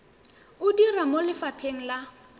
o dira mo lefapheng la